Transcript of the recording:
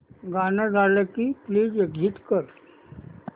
गाणं झालं की प्लीज एग्झिट कर